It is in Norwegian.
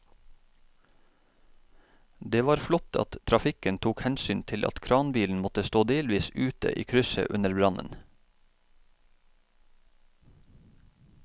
Det var flott at trafikken tok hensyn til at kranbilen måtte stå delvis ute i krysset under brannen.